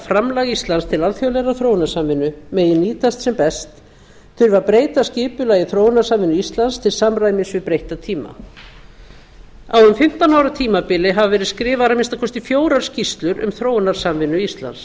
framlag íslands til alþjóðlegrar þróunarsamvinnu megi nýtast sem best þurfi að breyta skipulagi þróunarsamvinnu íslands til samræmis við breytta tíma á um fimmtán ára tímabili hafa verið skrifaðar að minnsta kosti fjórar skýrslur um þróunarsamvinnu íslands